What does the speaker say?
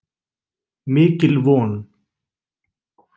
Mikil von.